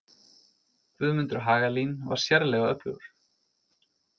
Guðmundur Hagalín var sérlega öflugur.